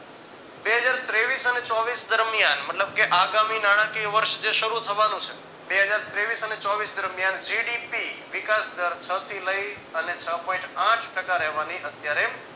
બે હજાર તેવીશ અને ચોવીસ દરમિયાન મતલબ કે આગામી નાણાકીય વર્ષ જે શરૂ થવાનું છે બે હજાર તેવીશ અને ચોવીશ દરમિયાન GDP વિકાસ દર છ થી લઈ અને છ point આઠ ટકા રહેવાની અત્યારે